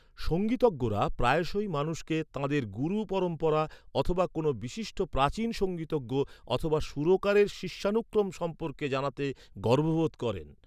সংগীতজ্ঞরা প্রায়শই মানুষকে তাঁদের গুরু পরম্পরা অথবা কোনও বিশিষ্ট প্রাচীন সংগীতজ্ঞ অথবা সুরকারের শিষ্যানুক্রম সম্পর্কে জানাতে গর্ববোধ করেন।